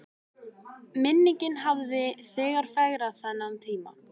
Minningin hafði þegar fegrað þennan tíma.